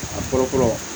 A kɔrɔ kɔrɔ